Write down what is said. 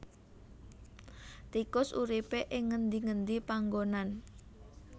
Tikus uripé ing ngendi ngendi panggonan